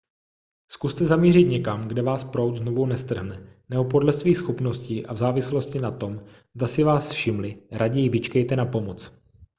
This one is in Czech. zkuste zamířit někam kde vás proud znovu nestrhne nebo podle svých schopností a v závislosti na tom zda si vás všimli raději vyčkejte na pomoc